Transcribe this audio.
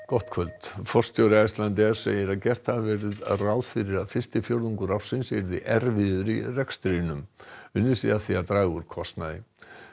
gott kvöld forstjóri Icelandair segir að gert hafi verið ráð fyrir að fyrsti fjórðungur ársins yrði erfiður í rekstrinum unnið sé að því að draga úr kostnaði